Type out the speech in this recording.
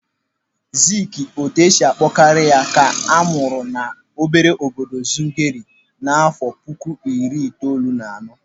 Ziiki, otu esi akpọ karị ya, ka amụrụ n'ime obere obodo Zungeru n'afọ puku iri itoolu na anọ.